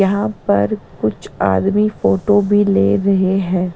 यहां पर कुछ आदमी फोटो भी ले रहे हैं।